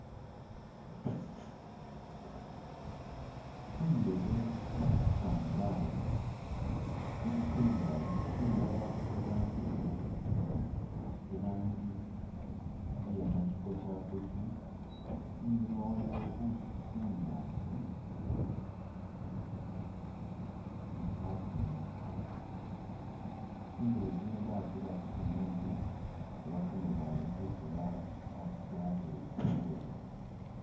Tsindebe batsipanga awo tsili tsingali, tsindala irangi imaali itsindi irangi iye nashikoshakoshi inyuma waliyo bushi bunyaasi ni khakingi, tsindebe tsino batsira khu simenti oba kamabaale kesi batereza bulaayi.